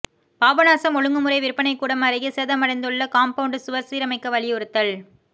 பாபநாசம் ஒழுங்குமுறை விற்பனைக்கூடம் அருகே சேதமடைந்துள்ள காம்பவுன்ட் சுவர் சீரமைக்க வலியுறுத்தல்